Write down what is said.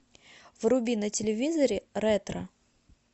вруби на телевизоре ретро